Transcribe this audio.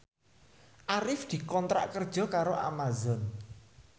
Arif dikontrak kerja karo Amazon